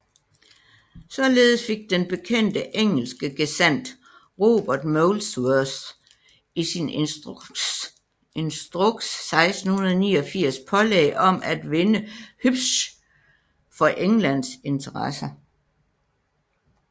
Således fik den bekendte engelske gesandt Robert Molesworth i sin instruks 1689 pålæg om at vinde Hübsch for Englands interesser